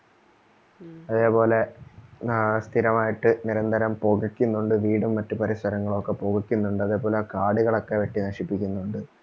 അതേപോലെ സ്ഥിരമായിട്ട് നിരന്തരം പുകയ്ക്കുന്നുണ്ട് വീടും മറ്റു പരിസരങ്ങളൊക്കെ പുകയ്ക്കുന്നുണ്ട് അതേപോലെ കാടുകളൊക്കെ വെട്ടിനശിപ്പിക്കുന്നുണ്ട്